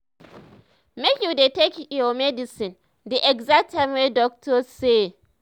make you dey take your medicine the exact time wey doctor say.